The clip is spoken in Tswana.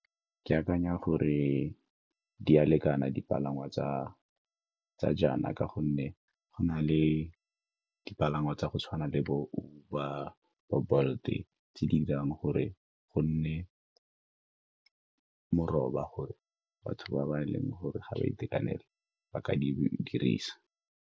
Ke akanya gore di a lekana dipalangwa tsa jaana ka gonne go na le dipalangwa tsa go tshwana le bo-Uber, bo-Bolt-e tse di dirang gore go nne moroba gore batho ba e leng gore ga di itekanela ba ka di dirisa.